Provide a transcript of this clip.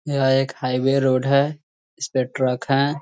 यह एक highway road है इसपे ट्रैक है |